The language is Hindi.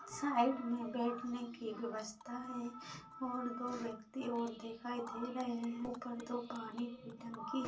साइड में बैठने के व्यवस्था है और दो व्यक्ति और दिखाई दे रहे है। ऊपर दो पानी की टंकी--